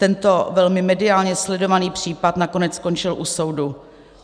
Tento velmi mediálně sledovaný případ nakonec skončil u soudu.